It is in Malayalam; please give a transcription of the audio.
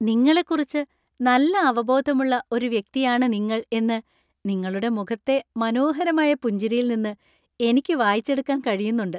നിങ്ങളെക്കുറിച്ച് നല്ല അവബോധം ഉള്ള ഒരു വ്യക്തിയാണ് നിങ്ങൾ എന്ന് നിങ്ങളുടെ മുഖത്തെ മനോഹരമായ പുഞ്ചിരിയിൽ നിന്ന് എനിക്ക് വായിച്ചെടുക്കാൻ കഴിന്നുണ്ട്.